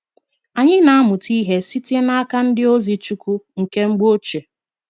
Anyị na amuta ihe site n'aka ndi ozi chukwu nke mgbo oche.